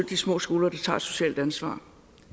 de små skoler der tager et socialt ansvar